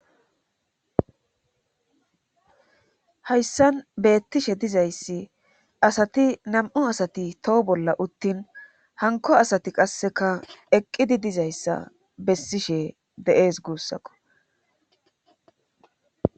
hayssan beettishe dizayssi asati nam7u asati toho bolla uttin hanko asati qasseka eqqidi dizayssa bessishe deees guussakko